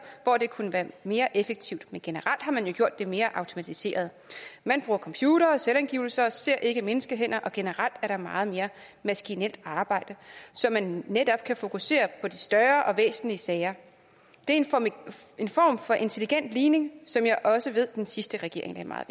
hvor det kunne være mere effektivt men generelt har man jo gjort det mere automatiseret man bruger computere og selvangivelser og ser ikke menneskehænder og generelt er der meget mere maskinelt arbejde så man netop kan fokusere på de større og væsentlige sager det er en form for intelligent ligning som jeg også ved den sidste regering lagde meget